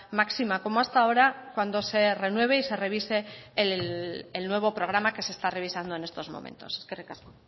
máxima como hasta ahora cuando se renueve y se revise el nuevo programa que se está revisando en estos momentos eskerrik asko